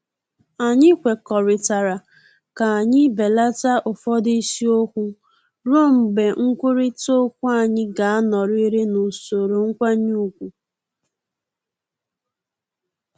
Anyị kwekọrịtara ka anyị belata ụfọdụ isiokwu ruo mgbe nkwurịta okwu anyị ga-anọrịrị n’usoro nkwanye ugwu